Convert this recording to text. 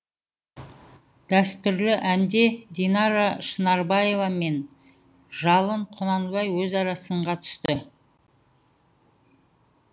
дәстүрлі әнде динара шынарбаева мен жалын құнанбай өзара сынға түсті